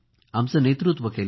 आमचे नेतृत्व केले